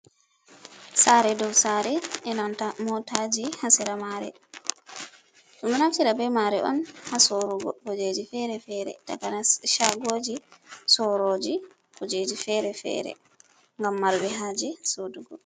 Saare dow saare enanta mootaaji, haa sera mare, ɗum ɗo naftira bee maare on haa soorugo kujeeji feere-feere, takanas shagooji soorooji kujeeji feere-feere ngam marbe haaje soorugo.